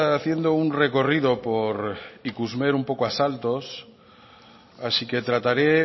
haciendo un recorrido por ikusmer un poco a saltos así que trataré